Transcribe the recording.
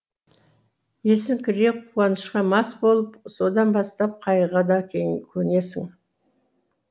есің кіре қуанышқа мас болып содан бастап қайғыға да көнесің